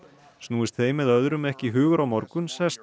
snúist þeim eða öðrum ekki hugur á morgun sest